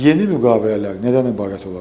Yeni müqavilələr nədən ibarət olacaq?